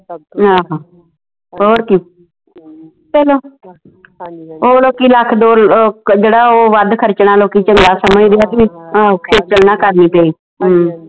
ਆਹੋ ਹੋਰ ਕੀ ਚਲੋ ਓ ਲੋਕੀ ਲੱਖ ਦੋ ਲੱਖ ਜਿਹੜਾ ਉਹ ਵੱਧ ਖਰਚਣਾ ਲੋਕੀ ਚੰਗਾ ਸਮਜਦੇ ਆ ਖੇਚਲ ਨਾ ਕਰਨੀ ਪਈ